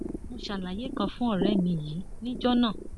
mo ṣàlàyé kan fún ọrẹ mi yìí níjọ náà